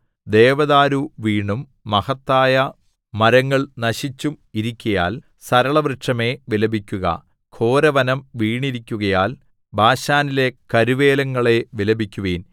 ദേവദാരു വീണും മഹത്തായ മരങ്ങൾ നശിച്ചും ഇരിക്കയാൽ സരളവൃക്ഷമേ വിലപിക്കുക ഘോരവനം വീണിരിക്കുകയാൽ ബാശാനിലെ കരുവേലങ്ങളേ വിലപിക്കുവിൻ